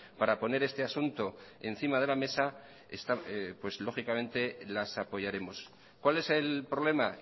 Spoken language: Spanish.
para poner este asunto encima de la mesa lógicamente las apoyaremos cuál es el problema